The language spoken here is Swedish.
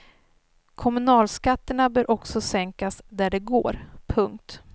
Kommunalskatterna bör också sänkas där det går. punkt